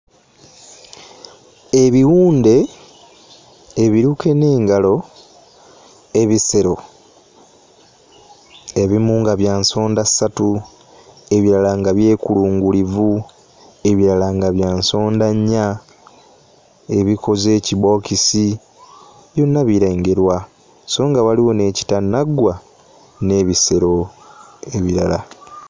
Ebiwunde ebiruke n'engalo, ebisero ebimu nga bya nsondassatu, ebirala nga ebyekulungirivu, ebirala nga bya nsondannya, ebikoze ekibookisi, byonna birengerwa, so nga waliwo n'ekitannaggwa n'ebisero ebirala.